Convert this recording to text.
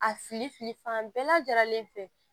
A filifili fan bɛɛ lajɛlen fɛ